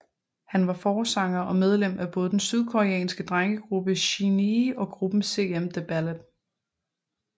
Han var forsanger og medlem af både den sydkoreanske drengegruppe SHINee og gruppen SM The Ballad